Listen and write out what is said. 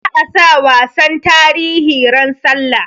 Za a sa wasan tarihi ran sallah